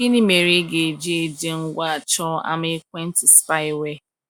Gịnị mere ị ga-eji eji ngwa achọ ama ekwentị spyware?